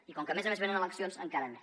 i com que a més a més venen eleccions encara més